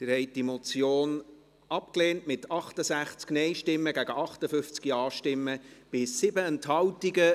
Sie haben diese Motion abgelehnt, mit 68 Nein- gegen 58 Ja-Stimmen bei 7 Enthaltungen.